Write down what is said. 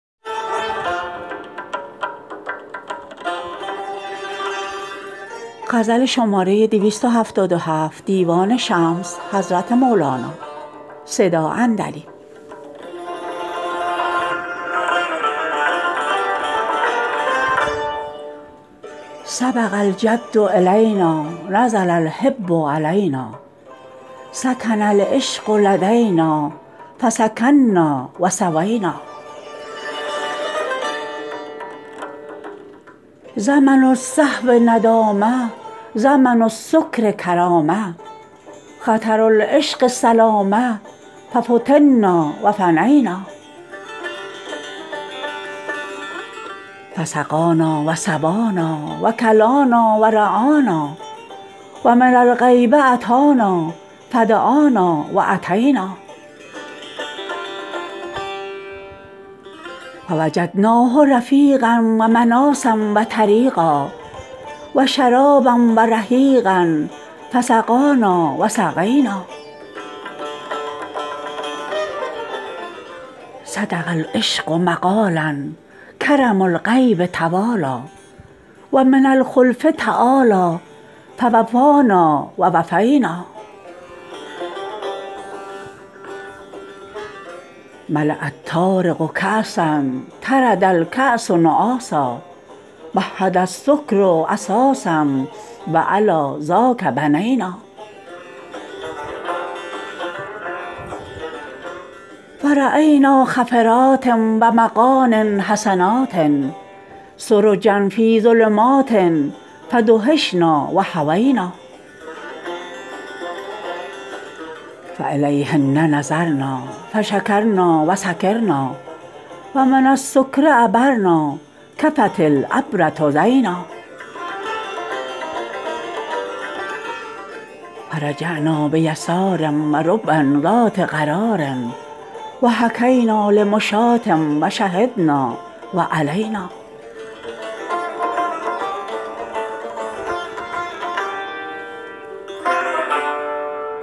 سبق الجد الینا نزل الحب علینا سکن العشق لدینا فسکنا و ثوینا زمن الصحو ندامه زمن السکر کرامه خطر العشق سلامه ففتنا و فنینا فسقانا و سبانا و کلانا و رعانا و من الغیب اتانا فدعانا و اتینا فوجدناه رفیقا و مناصا و طریقا و شرابا و رحیقا فسقانا و سقینا صدق العشق مقالا کرم الغیب توالی و من الخلف تعالی فوفانا و وفینا ملاء الطارق کاسا طرد الکاس نعاسا مهد السکر اساسا و علی ذاک بنینا فراینا خفرات و مغان حسنات سرجا فی ظلمات فدهشنا و هوینا فالهین نظرنا فشکرنا و سکرنا و من السکر عبرنا کفت العبره زینا فرحعنا بیسار و ربی ذات قرار و حکینا لمشاه و شهدنا و الینا